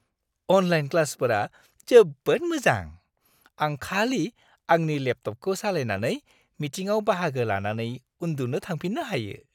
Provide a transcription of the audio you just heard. Online क्लासफोरा जोबोद मोजां। आं खालि आंनि लेपटपखौ सालायनानै, मिटिंआव बाहागो लानानै उन्दुनो थांफिन्नो हायो।